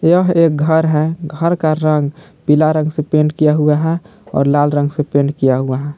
यह एक घर है घर का रंग पीला रंग से पेंट किया हुआ है और लाल रंग से पेंट किया हुआ है।